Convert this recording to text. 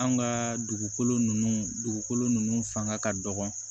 An ka dugukolo nun dugukolo nunnu fanga ka dɔgɔ